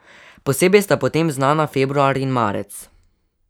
Posebej sta po tem znana februar in marec.